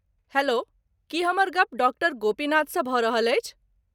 Hello, की हमर गप डॉक्टर गोपीनाथसँ भऽ रहल अछि?